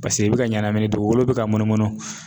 Paseke i bɛ ka ɲɛnamini dugukolo bɛ ka munumunu